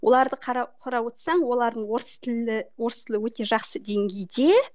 оларды қарап отырсаң олардың орыс тілі орыс тілі өте жақсы деңгейде